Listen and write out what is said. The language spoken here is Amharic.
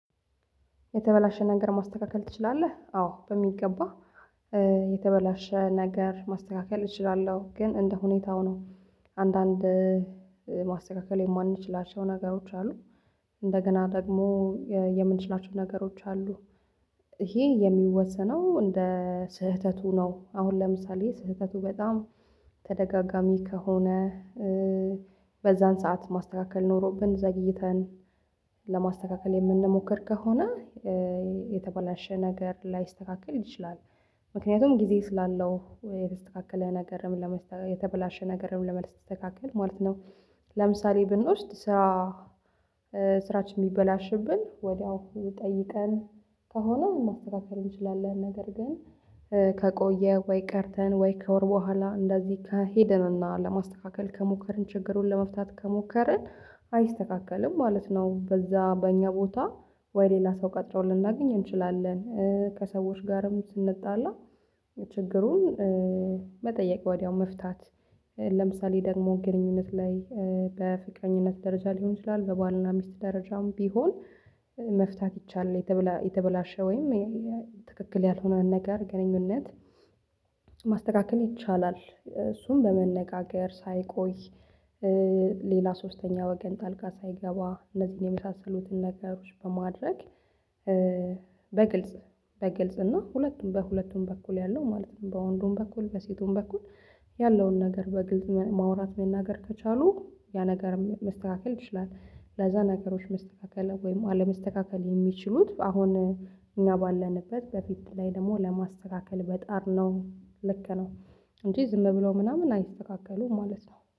የተበላሸ ነገር ማስተካከል ትችላለህ? አዎ በሚገባ የተበላሸ ነገር ማስተካከል እችላለሁ ግን እንደ ሁኔታው ነው። አንዳንድ ማስተካከል የማንችላቸው ነገሮች አሉ። እንደገና ደግሞ የምንችላቸው ነገሮች አሉ። ይሄ የሚወሰነው እንደ ስህተቱ ነው። አሁን ለምሳሌ ስህተቱ በጣም ተደጋጋሚ ከሆነ። በዛን ሰዓት ማስተካከል ኖሮብን ዘግይተን ለማስተካከል የምንሞክር ከሆነ የተበላሸ ነገር ላይስተካከል ይችላል። ምክንያቱም ጊዜ ስላለው የተስተካከለ ነገርም ለመስተካከል የተበላሸ ነገርም ለመልስ ትስተካከል ማለት ነው። ለምሳሌ ብንውስድ ስራ ስራችን የሚበላሽብን ወዲያው ጠይቀን ከሆነ ማስተካከል እንችላለን። ነገር ግን ከቆየ ወይ ቀርተን ወይ ከወር በኋላ እንደዚህ ከሄደን እና ለማስተካከል ከሞከርን ችግሩን ለመፍታት ከሞከርን አይስተካከልም ማለት ነው። በዛ በእኛ ቦታ ወይ ሌላ ሰው ቀጥረው ልናገኝ እንችላለን። ከሰዎች ጋርም ስንጣላ ችግሩን መጠየቅ ወዲያው መፍታት። ለምሳሌ ደግሞ ግንኙነት ላይ በፍቅረኝነት ደረጃ ሊሆን ይችላል በባልና ሚስት ደረጃም ቢሆን መፍታት ይቻላል። የተበላሸ ወይም ትክክል ያልሆነ ነገር ግንኙነት ማስተካከል ይቻላል። እሱን በመነጋገር ሳይቆይ ሌላ ሶስተኛ ወገን ጣልቃ ሳይገባ እነዚህን የመሳሰሉትን ነገሮች በማድረግ። በግልጽ በግልጽ እና ሁለቱም በሁለቱም በኩል ያለው ማለት ነው። በወንዱም በኩል በሴቱም በኩል ያለውን ነገር በግልጽ ማውራት መናገር ከቻሉ ያ ነገር መስተካከል ይችላል። ለዛ ነገሮች መስተካከል ወይም አለመስተካከል የሚችሉት አሁን እኛ ባለንበት በፊት ላይ ደግሞ ለማስተካከል መጣር ነው። ልክ ነው እንጂ ዝም ብለው ምናምን አይስተካከሉም ማለት ነው